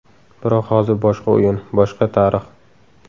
Biroq hozir boshqa o‘yin, boshqa tarix.